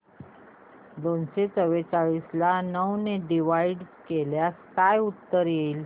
दोनशे चौवेचाळीस ला नऊ ने डिवाईड केल्यास काय उत्तर येईल